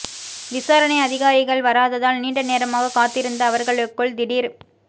விசாரணை அதிகாரிகள் வராததால் நீண்டநேரமாக காத்திருந்த அவர்களுக்குள் திடீர்